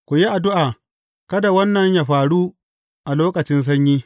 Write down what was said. Ku yi addu’a, kada wannan yă faru a lokacin sanyi.